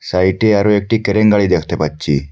সাইটে আরও একটি ক্রেন গাড়ি দেখতে পাচ্ছি।